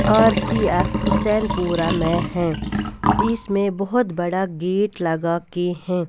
RCF Hussainpura में है इसमें बहुत बड़ा गेट लगा के हैं.